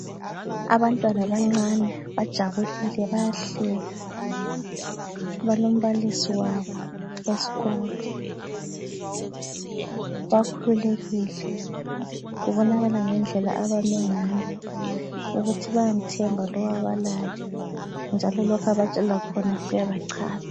Abantwana abancane bajabulile bayahleka balombalisi wabo esikolo, bakhululekile kubonakala ngendlela abame ngayo ukuthi bayamthemba lo abalaye njalo lokho abatshela khona kuyabachaza